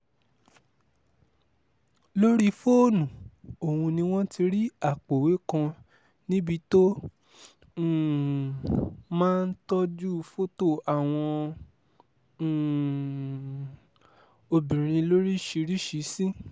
lórí fóònù ọ̀hún ni wọ́n ti rí àpòòwé kan níbi tó um máa ń tọ́jú fọ́tò àwọn um obìnrin lóríṣìíríṣìí sí